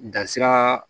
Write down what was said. Dansira